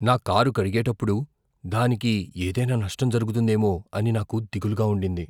నా కారు కడిగేటప్పుడు దానికి ఏదైనా నష్టం జరుగుతుందేమో అని నాకు దిగులుగా ఉండింది.